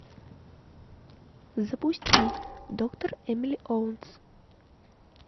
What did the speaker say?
запусти доктор эмили оуэнс